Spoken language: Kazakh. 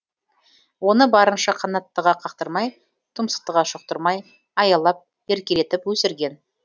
оны барынша қанаттыға қақтырмай тұмсықтыға шоқтырмай аялап еркелетіп өсірген